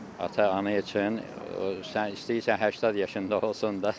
Ata-ana üçün sən istəyirsən 80 yaşında olsun da.